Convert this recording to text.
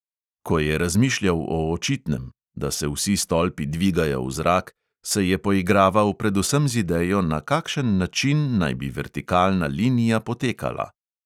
Ko je razmišljal o očitnem – da se vsi stolpi dvigajo v zrak – se je poigraval predvsem z idejo, na kakšen način naj bi vertikalna linija potekala.